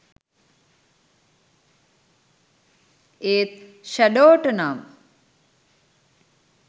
ඒත් ෂැඩෝට නම්